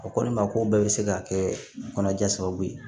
O ko ne ma ko bɛɛ be se ka kɛ kɔnɔnajɛ sababu ye